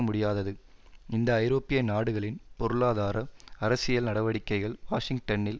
முடியாதது இந்த ஐரோப்பிய நாடுகளின் பொருளாதார அரசியல் நடவடிக்கைகள் வாஷிங்டனில்